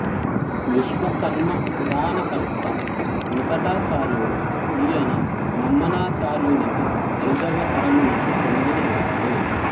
విశ్వకర్మ పురాణకర్త వేంకటాచార్యుడు ఈయన మమ్మనాచార్యునికి అయిదవ తరమునకు చెందినవాడు